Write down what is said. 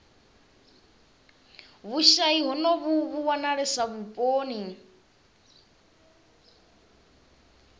vhushayi honovhu vhu wanalesa vhuponi